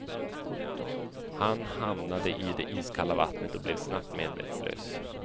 Han hamnade i det iskalla vattnet och blev snabbt medvetslös.